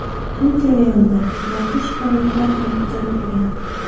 Bu jarayonda noxush holatlar ham kuzatilgan .